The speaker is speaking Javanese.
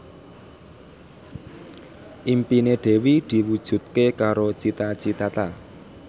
impine Dewi diwujudke karo Cita Citata